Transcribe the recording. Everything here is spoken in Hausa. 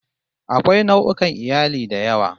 Akwai nau'ukan iyali da yawa